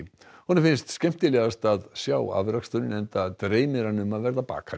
honum finnst skemmtilegast að sjá afraksturinn enda dreymir hann um að verða bakari